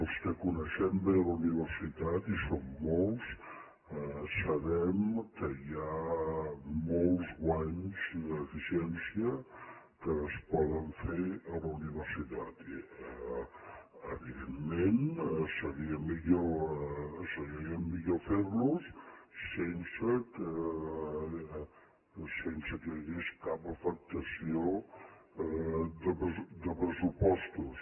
els que coneixem bé la universitat i som molts sabem que hi ha molts guanys d’eficiència que es poden fer a la universitat i evidentment seria millor ferlos sense que hi hagués cap afectació de pressupostos